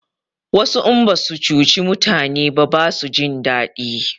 Wasu in basu cuci mutani ba basu jin daɗi